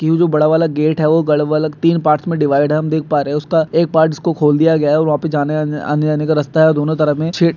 कि ये जो बड़ा वाला गेट है वो तीन पार्ट्स में डीवाईड है हम देख पा रहे है उसका एक पार्ट उसको खोल दिया गया है और वहाँ पर जाने आने-आने-जाने का रस्ता है दोन्हों तरफ में --